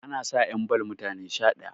ana sa 'yan ball mutane Sha ɗaya